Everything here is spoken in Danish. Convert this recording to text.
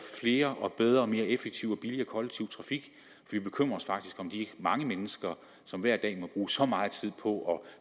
flere og bedre og mere effektiv og billigere kollektiv trafik vi bekymrer os faktisk om de mange mennesker som hver dag må bruge så meget tid på